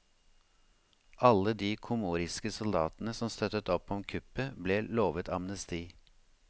Alle de komoriske soldatene som støttet opp om kuppet ble lovet amnesti.